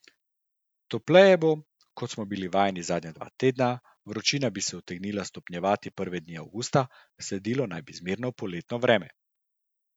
Topleje bo, kot smo bili vajeni zadnja dva tedna, vročina bi se utegnila stopnjevati prve dni avgusta, sledilo naj bi zmerno poletno vreme.